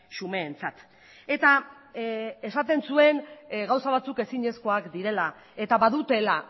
xumeentzat eta esaten zuen gauza batzuk ezinezkoak direla eta badutela